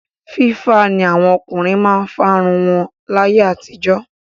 Fífá ni àwọn ọkùnrin máa ń fárun wọn láyé àtijọ́.